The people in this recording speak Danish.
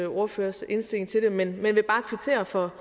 ordførers indstilling til det man vil bare kvittere for